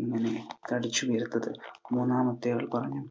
ഇങ്ങനെ തടിച്ചു വീർത്തത്. മൂന്നാമത്തെ ആൾ പറഞ്ഞു.